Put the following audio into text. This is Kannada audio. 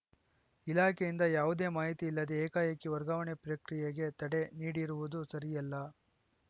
ಇಲಾಖೆಯಿಂದ ಯಾವುದೇ ಮಾಹಿತಿ ಇಲ್ಲದೇ ಏಕಾಏಕಿ ವರ್ಗಾವಣೆ ಪ್ರಕ್ರಿಯೆಗೆ ತಡೆ ನೀಡಿರುವುದು ಸರಿಯಲ್ಲ